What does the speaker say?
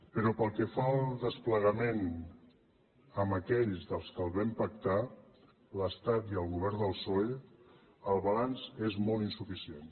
però pel que fa al desplegament amb aquells que el vam pactar l’estat i el govern del psoe el balanç és molt insuficient